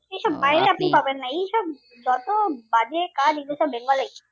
পাবেন না এই সব যত বাজে কাজ এইগুলো সব বেঙ্গল এই